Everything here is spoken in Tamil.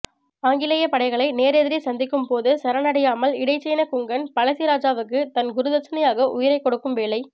ஆங்கிலேயப் படைகளை நேரெதிரே சந்திக்கும் போது சரணடையாமல் இடைச்சேன குங்கன் பழசிராஜாவுக்குத் தன் குருதட்சணயாக உயிரைக் கொடுக்கும் வேளை